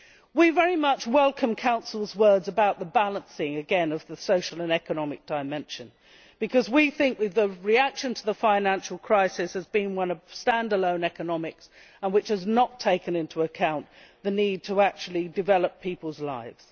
We very much welcome the Council's words about the balancing of the social and economic dimension, because we think that the reaction to the financial crisis has been one of stand alone economics and that it has not taken into account the need to actually develop people's lives.